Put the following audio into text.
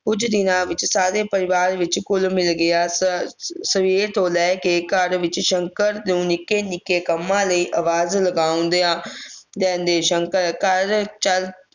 ਕੁਝ ਦਿਨਾਂ ਵਿਚ ਸਾਰੇ ਪਰਿਵਾਰ ਵਿਚ ਘੁਲ ਮਿਲ ਗਿਆ ਸ ਅਹ ਸਵੇਰ ਤੋਂ ਲੈ ਕੇ ਘਰ ਵਿਚ ਸ਼ੰਕਰ ਨੂੰ ਨਿੱਕੇ ਨਿੱਕੇ ਕੰਮਾਂ ਲਈ ਆਵਾਜ ਲਗਾਉਂਦਿਆਂ ਰਹਿੰਦੇ ਸ਼ੰਕਰ ਘਰ ਚ